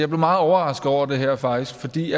meget overrasket over det her faktisk fordi